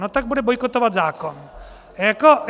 No tak bude bojkotovat zákon.